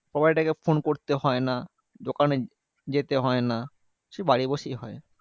Proprietor কে phone করতে হয় না, দোকানে যেতে হয় না, সে বাড়ি বসেই হয়।